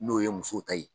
N'o ye muso ta ye